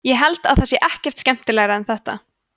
ég held það sé ekkert skemmtilegra en þetta